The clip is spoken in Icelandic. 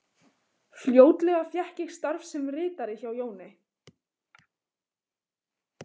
Fljótlega fékk ég starf sem ritari hjá Jóni